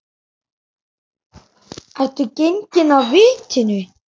Ertu genginn af vitinu?